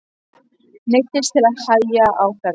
Neyddist til að hægja á ferðinni.